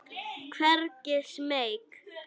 Hvergi smeyk.